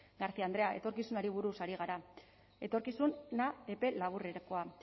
garcia andrea etorkizunari buruz ari gara etorkizuna epe laburrekoa